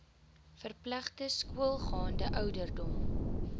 verpligte skoolgaande ouderdom